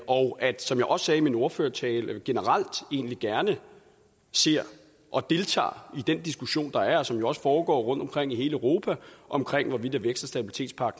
og at som jeg også sagde i min ordførertale vi generelt egentlig gerne ser og deltager i den diskussion der er og som jo også foregår rundtomkring i hele europa om hvorvidt stabilitets og